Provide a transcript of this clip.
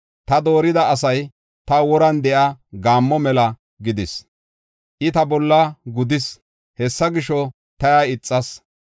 Ta doorida asay taw woran de7iya gaammo mela gidis. I ta bolla gudis; hessa gisho, ta iya ixas.